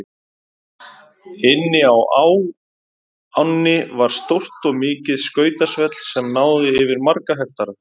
Inni á ánni var stórt og mikið skautasvell sem náði yfir marga hektara.